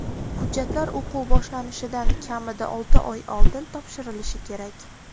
Hujjatlar o‘quv boshlanishidan kamida olti oy oldin topshirilishi kerak.